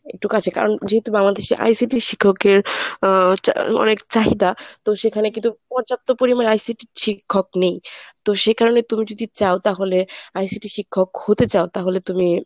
একটু কাছে কারণ যেহেতু বাংলাদেশে ICT শিক্ষকের অ্যা অনেক চাহিদা তো সেখানে কিন্তু পর্যাপ্ত পরিমাণ ICT শিক্ষক নেই তো সেই কারণে তুমি যদি চাও তাহলে ICT শিক্ষক হতে চাও তাহলে তুমি,